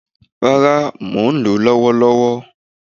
Rara, mò n lo lòwó-lowó